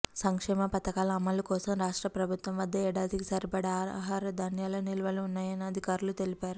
సంక్షేమ పథకాల అమలు కోసం రాష్ట్ర ప్రభుత్వం వద్ద ఏడాదికి సరిపడా ఆహార ధాన్యాల నిల్వలు ఉన్నాయని అధికారులు తెలిపారు